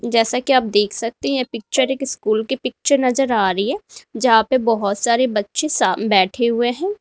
जैसा कि आप देख सकते हैं यह पिक्चर एक स्कूल के पिक्चर नजर आ रही है जहां पे बहोत सारे बच्चे शा बैठे हुए हैं।